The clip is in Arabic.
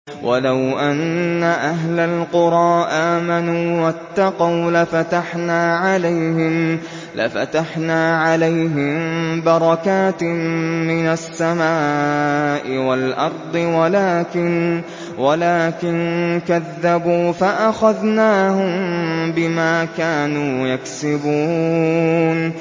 وَلَوْ أَنَّ أَهْلَ الْقُرَىٰ آمَنُوا وَاتَّقَوْا لَفَتَحْنَا عَلَيْهِم بَرَكَاتٍ مِّنَ السَّمَاءِ وَالْأَرْضِ وَلَٰكِن كَذَّبُوا فَأَخَذْنَاهُم بِمَا كَانُوا يَكْسِبُونَ